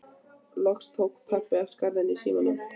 Loks tók pabbi af skarið í símanum.